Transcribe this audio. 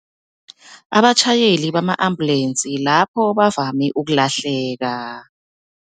Abatjhayeli bama-ambulensi lapho bavame ukulahleka.